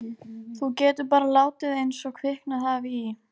Þú getur bara látið einsog kviknað hafi í.